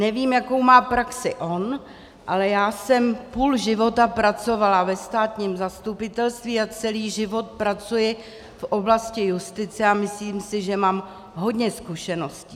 Nevím, jakou má praxi on, ale já jsem půl života pracovala ve státním zastupitelství a celý život pracuji v oblasti justice a myslím si, že mám hodně zkušeností.